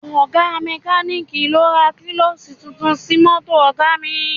Ọ̀ga mẹ́kalíìkì lọ ra kílọ́ọ̀ṣì tuntun sí mọ́tò Ọ̀ga mi